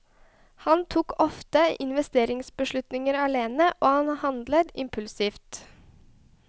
Han tok ofte investeringsbeslutninger alene, og han handlet impulsivt.